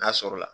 N'a sɔrɔ la